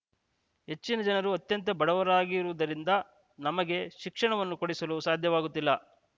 ಹೆಚ್ಚಿನ ಜನರು ಅತ್ಯಂತ ಬಡವರಾಗಿರುವುದರಿಂದ ನಮಗೆ ಶಿಕ್ಷಣವನ್ನು ಕೊಡಿಸಲು ಸಾದ್ಯವಾಗುತ್ತಿಲ್ಲ